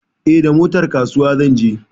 Eh, da motar kasuwa zan je.